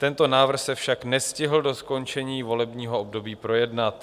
Tento návrh se však nestihl do skončení volebního období projednat.